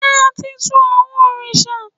ṣe a ti tù awọn oriṣa?